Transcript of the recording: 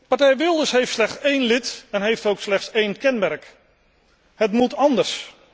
Partij Wilders heeft slechts één lid en heeft ook slechts één kenmerk het moet anders.